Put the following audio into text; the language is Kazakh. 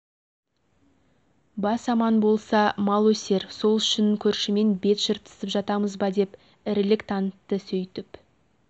бас аман болса мал өсер сол үшін көршімен бет жыртысып жатамыз ба деп ірілік танытты сөйтіп